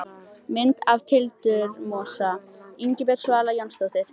Mynd af tildurmosa: Ingibjörg Svala Jónsdóttir.